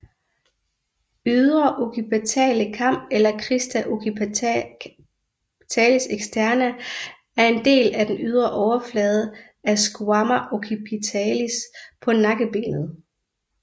Ydre occipitale kam eller Crista occipitalis externa er en del af den ydre overflade af squama occipitalis på nakkebenet